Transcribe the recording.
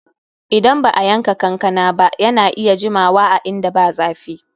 Idan ba'a yanka kankana ba, yana iya jimawa a inda ba zafi.